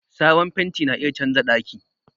Sabon fenti na iya canza daki.